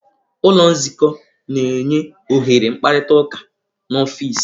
Ụlọ nzukọ na-enye ohere mkparịta ụka n'ọfịs.